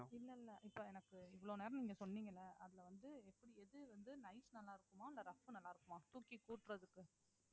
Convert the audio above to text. இல்ல இல்ல இப்ப எனக்கு இவ்வளோ நேரம் நீங்க சொன்னீங்கள அதுல வந்து எது வந்து nice நல்லா இருக்குமா இல்ல rough நல்லா இருக்குமா தூக்கி கூட்டறதுக்கு